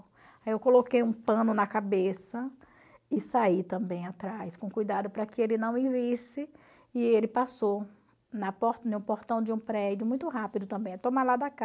Aí eu coloquei um pano na cabeça e saí também atrás, com cuidado para que ele não me visse, e ele passou na por em um portão de um prédio, muito rápido também, é tomar lá da cá.